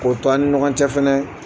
K'o to an ni ɲɔgɔn cɛ fɛnɛ